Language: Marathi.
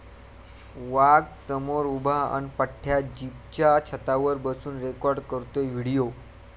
वाघ समोर उभा अन् पठ्या जीपच्या छतावर बसून रेकाॅर्ड करतोय व्हिडिओ